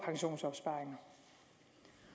pensionsopsparinger